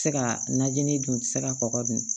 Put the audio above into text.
Tɛ se ka najini dun tɛ se ka kɔgɔ dun